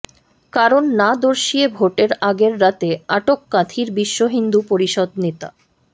কারণ না দর্শিয়ে ভোটের আগের রাতে আটক কাঁথির বিশ্ব হিন্দু পরিষদ নেতা